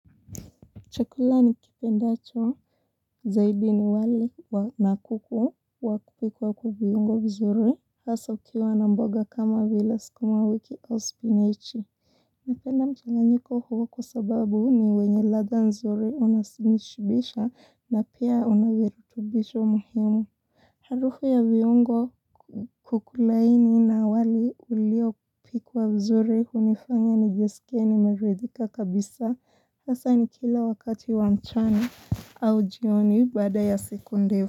Chakula nikipendacho zaidi ni wali na kuku wakupikwa kubiyungo vizuri. Hasa ukiwa na mboga kama vile sukuma wiki au spinach. Napenda mchanganyiko huo kwa sababu ni wenye ladha nzuri unashibisha na pia una virutubisho muhimu. Harufu ya viungo kuku laini na wali uliopikwa vizuri hunifanya nijiskie nimeredhika kabisa. Sasa ni kila wakati wa mchani au jioni bada ya sekunde.